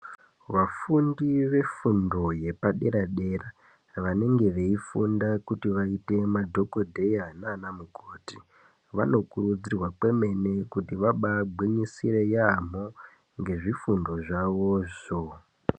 Vafundi vefundo yepadera dera vanenge veifunda kuti vaite madhokotera nanamukoti vanokuridzirwa kwemene kuti vambai gwinyisire yambo ngezvifundo zvavozvo.